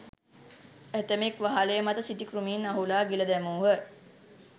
ඇතමෙක් වහලය මත සිටි කෘමීන් අහුලා ගිල දැමූහ.